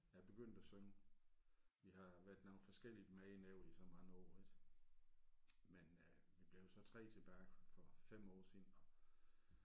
Jeg er begyndt at synge vi har været nogle forskellige med ind over i så mange år ik men øh vi blev jo så 3 tilbage for 5 år siden og